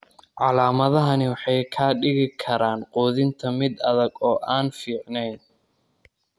Calaamadahani waxay ka dhigi karaan quudinta mid adag oo aan fiicnayn.